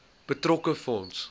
betrokke fonds